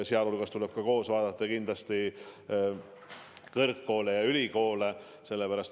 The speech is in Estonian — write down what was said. Ja nendega koos tuleb kindlasti vaadata ülikoole ja muid kõrgkoole.